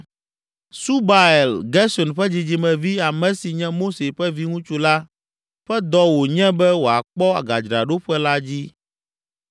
Subael, Gersom ƒe dzidzimevi, ame si nye Mose ƒe viŋutsu la ƒe dɔ wònye be wòakpɔ gadzraɖoƒe la dzi.